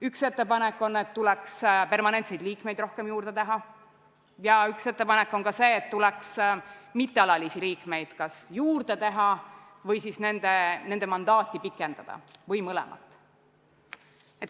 Üks ettepanek on, et peaks permanentseid liikmeid rohkem olema, ja üks ettepanek on, et tuleks mittealalisi liikmeid kas juurde valida või siis nende mandaati pikendada või mõlemat.